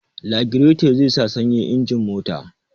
Lagireto zai sa sanyin injin mota